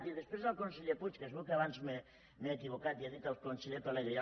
i després al conseller puig que es veu que abans m’he equivocat i he dit el conseller pelegrí